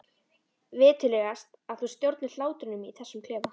Viturlegast að þú stjórnir hlátrinum í þessum klefa.